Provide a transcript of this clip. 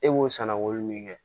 E b'o sannawolo min kɛ